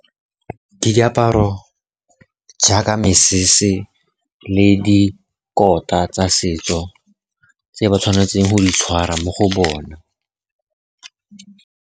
Ke diaparo jaaka mesese le dikota tsa setso tse ba tshwanetseng go di tshwara mo go bona.